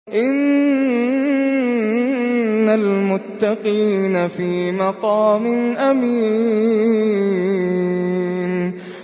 إِنَّ الْمُتَّقِينَ فِي مَقَامٍ أَمِينٍ